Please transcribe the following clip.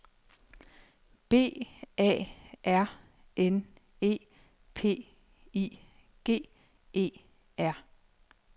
B A R N E P I G E R